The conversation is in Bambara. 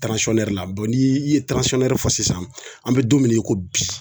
la ni i ye fɔ sisan an be don min na i ko bi